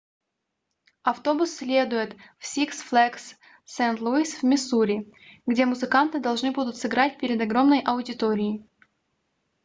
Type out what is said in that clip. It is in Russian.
автобус следует в six flags st louis в миссури где музыканты должны будут сыграть перед огромной аудиторией